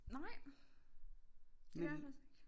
Nej det gør jeg faktisk ikke